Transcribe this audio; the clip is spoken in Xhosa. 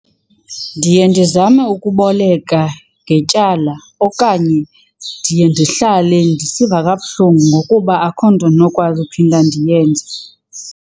Ndiye ndizame ukuboleka ngetyala okanye ndiye ndihlale ndisiva kabuhlungu ngokuba akho nto ndinokwazi uphinda ndiyenze.